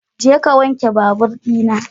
Jeka ka wanke babur ɗina.